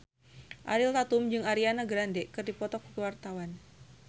Ariel Tatum jeung Ariana Grande keur dipoto ku wartawan